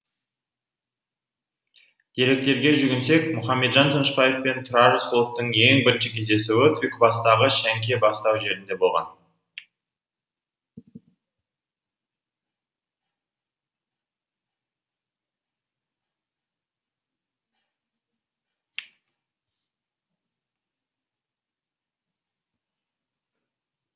деректерге жүгінсек мұхамеджан тынышбаев пен тұрар рысқұловтың ең бірінші кездесуі түлкібастағы шәңке бастау жерінде болған